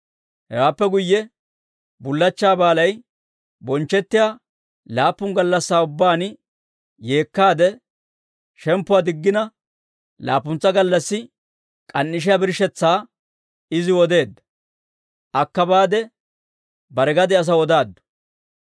Hewaappe guyye bullachchaa baalay bonchchettiyaa laappun gallassaa ubbaan yeekkaade shemppuwaa diggina, laappuntsa gallassi k'an"ishiyaa birshshetsaa iziw odeedda. Akka baade bare gade asaw odaaddu.